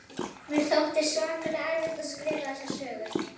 Mér þótti svakalega erfitt að skrifa þessa sögu.